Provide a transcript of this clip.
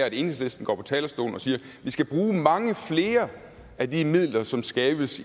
at enhedslisten går på talerstolen og siger at vi skal bruge mange flere af de midler som skabes